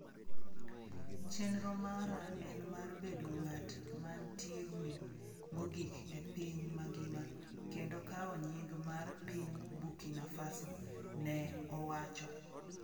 ""Chero mara en mar bedo ng'at mantiegni mogik e piny mangima kendo kao nying' mar piny Burkina Faso," ne owacho.